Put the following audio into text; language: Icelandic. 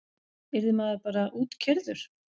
Yrði maður bara útkeyrður?